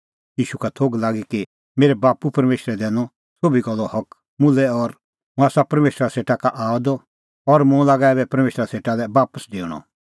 ईशू का थोघ लागी कि मेरै बाप्पू परमेशरै दैनअ सोभी गल्लो हक मुल्है और हुंह आसा परमेशरा सेटा का आअ द और मुंह लागा ऐबै परमेशरा सेटा लै बापस डेऊणअ